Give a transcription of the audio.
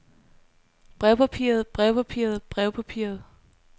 brevpapiret brevpapiret brevpapiret